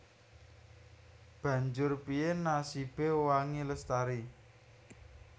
Banjur piyé nasibé Wangi Lestari